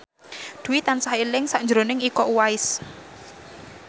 Dwi tansah eling sakjroning Iko Uwais